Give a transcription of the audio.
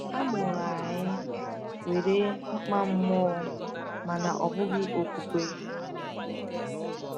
A mụrụ anyị nwere mkpa mmụọ mana ọ bụghị okwukwe.